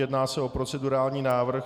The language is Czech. Jedná se o procedurální návrh.